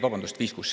Vabandust!